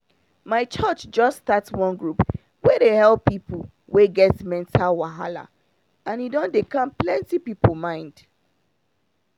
my church just start one group wey dey help people wey get mental wahala and e don dey calm plenty people mind